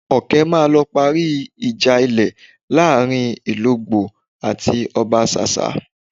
Ọkẹ́ máa lọ parí ìjà ilẹ̀ láàrin Ìlogbò àti Ọbasásá